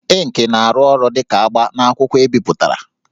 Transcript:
Ịnkị na-arụ ọrụ dị ka agba n'akwụkwọ ebipụtara